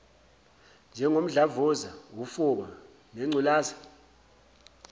njengomdlavuza ufuba nengculaza